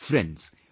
Friends,